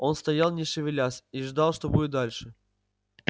он стоял не шевелясь и ждал что будет дальше